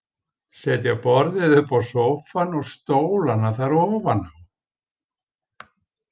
Setja borðið uppá sófann og stólana þar ofaná.